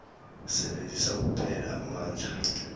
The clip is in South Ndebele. sebenzisa kuphela amandla